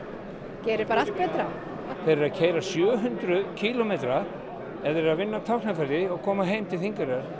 gerir allt betra þeir eru að keyra sjö hundruð kílómetra ef þeir eru að vinna á Tálknafirði og koma heim til Þingeyrar